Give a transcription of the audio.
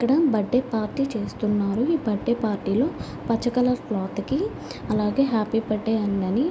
ఇక్కడ birthday party చేస్తున్నారు. ఈ బర్త్డే పార్టీ లో పచ్చ కలర్ చ్లొథ్ కి అలాగే హ్యాపీ బడే అని గని--